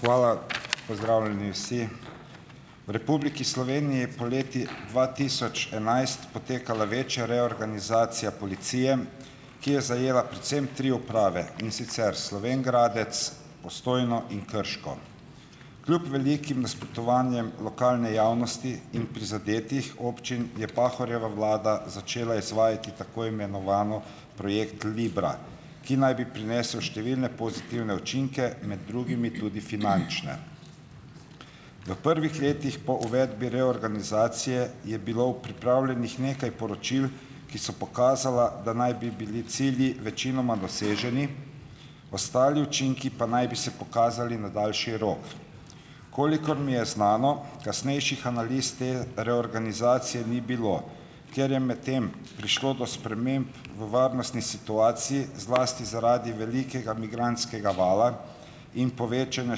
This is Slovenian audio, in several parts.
Hvala. Pozdravljeni vsi! V Republiki Sloveniji je poleti dva tisoč enajst potekala večja reorganizacija policije, ki je zajela predvsem tri uprave, in sicer Slovenj Gradec, Postojno in Krško. Kljub velikim nasprotovanjem lokalne javnosti in prizadetih občin je Pahorjeva vlada začela izvajati tako imenovani projekt Libra, ki naj bi prinesel številne pozitivne učinke, med drugimi tudi finančne. V prvih letih po uvedbi reorganizacije je bilo pripravljenih nekaj poročil, ki so pokazala, da naj bi bili cilji večinoma doseženi, ostali učinki pa naj bi se pokazali na daljši rok. Kolikor mi je znano, kasnejših analiz te reorganizacije ni bilo. Ker je medtem prišlo do sprememb v varnostni situaciji, zlasti zaradi velikega migrantskega vala in povečanja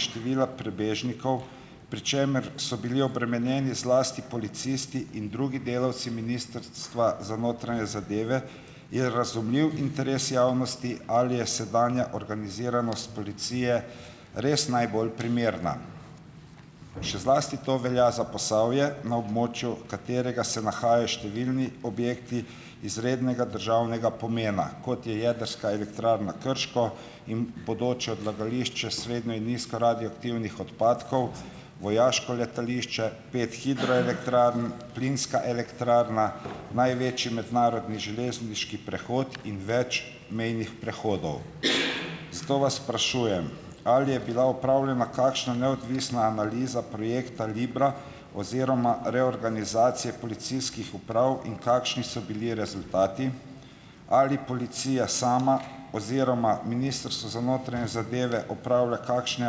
števila prebežnikov, pri čemer so bili obremenjeni zlasti policisti in drugi delavci Ministrstva za notranje zadeve, je razumljiv interes javnosti, ali je sedanja organiziranost policije, res najbolj primerna. Še zlasti to velja za Posavje, na območju katerega se nahajajo številni objekti izrednega državnega pomena, kot je jedrska elektrarna Krško in bodoče odlagališče srednje in nizko radioaktivnih odpadkov, vojaško letališče, pet hidroelektrarn, plinska elektrarna, največji mednarodni železniški prehod in več mejnih prehodov. Zato vas sprašujem, ali je bila opravljena kakšna neodvisna analiza projekta Libra oziroma reorganizacije policijskih uprav in kakšni so bili rezultati? Ali policija sama oziroma Ministrstvo za notranje zadeve opravlja kakšne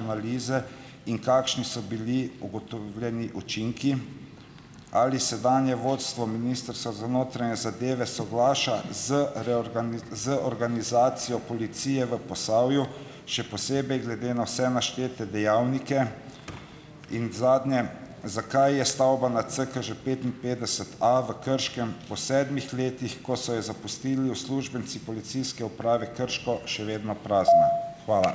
analize in kakšni so bili ugotovljeni učinki? Ali sedanje vodstvo Ministrstva za notranje zadeve soglaša z z organizacijo policije v Posavju, še posebej glede na vse naštete dejavnike in zadnje, zakaj je stavba na CKŽ petinpetdeset A v Krškem po sedmih letih, ko so jo zapustili uslužbenci Policijske uprave Krško, še vedno prazna? Hvala.